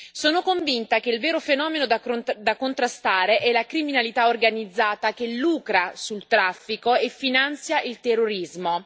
Sono convinta che il vero fenomeno da contrastare è la criminalità organizzata, che lucra sul traffico e finanzia il terrorismo.